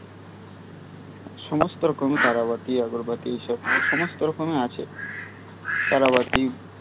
সমস্ত রকম তারাবাতি আগরবাতি সব সমস্ত রকমের আছে তারাবাতি